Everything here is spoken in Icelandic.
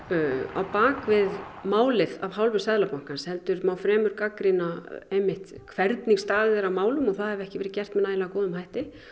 á bak við málið af hálfu Seðlabankans heldur má frekar gagnrýna einmitt hvernig staðið er að málum og að það hafi ekki verið gert með nægilega góðum hætti